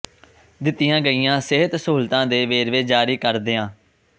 ਦਿੱਤੀਆਂ ਗਈਆਂ ਸਿਹਤ ਸਹੂਲਤਾਂ ਦੇ ਵੇਰਵੇ ਜਾਰੀ ਕਰਦਿਆਂ ਸ